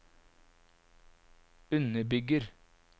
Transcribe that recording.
underbygger